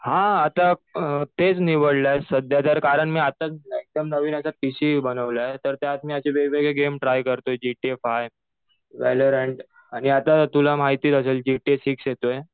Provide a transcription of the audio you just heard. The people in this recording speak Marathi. हा आता तेच निवडलंय सध्या तर कारण मी आताच एकदम नवीन असं बनवलंय. तर त्यात मी वेगवेगळे गेम ट्राय करतो जी के फाय हे आता तुला माहीतच असेल जी के सिक्स येतोय.